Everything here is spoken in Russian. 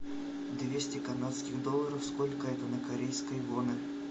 двести канадских долларов сколько это на корейские воны